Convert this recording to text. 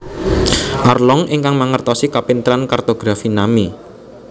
Arlong ingkang mangertosi kapinteran kartografi Nami